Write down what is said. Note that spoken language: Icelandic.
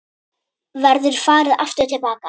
Verður farið aftur til baka?